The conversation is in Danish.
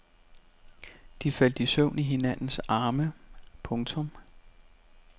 De faldt i søvn i hinandens arme. punktum